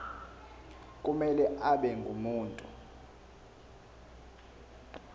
kumele abe ngumuntu